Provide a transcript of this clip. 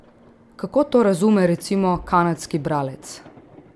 Kako to razume recimo kanadski bralec?